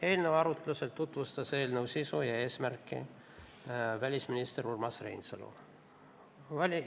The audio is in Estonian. Eelnõu arutlusel tutvustas eelnõu sisu ja eesmärki välisminister Urmas Reinsalu.